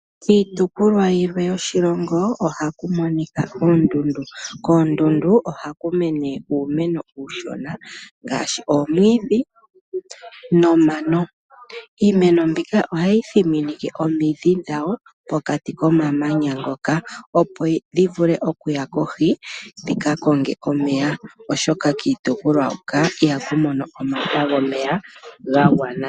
Kiitopolwa yilwe yoshilongo ohaku monika oondundu, koondundu ohaku mene uumeno uushona ngaashi oomwidhi noomano, iimeno mbika ohayi dhiminike omiidhi dhawo po kati komamanya ngoka opo dhivule okuya kohi dhi kakonge omeya oshoka kiitopolwa hoka iha ku mono omata gomeya gaagwana.